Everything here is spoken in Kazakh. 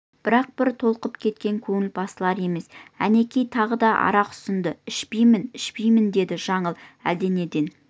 бірақ бір толқып кеткен көңіл басылар емес әнекей тағы да арақ ұсынды ішпеймін ішпейміндеді жаңыл әлденеден